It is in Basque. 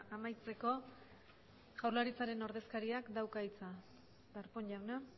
amaitzeko jaurlaritzaren ordezkariak dauka hitza darpón jauna